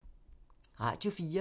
Radio 4